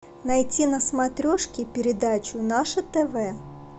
найти на смотрешке передачу наше тв